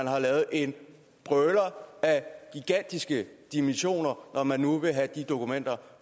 har lavet en brøler af gigantiske dimensioner når man nu vil have de dokumenter